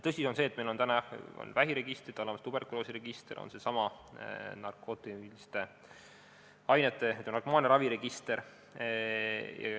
Tõsi on see, et meil on olemas vähiregistrid, on tuberkuloosiregister, on seesama narkootiliste ainete ja narkomaaniaravi register.